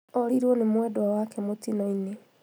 Orirwo nĩ mwenda wake mũtino-inĩ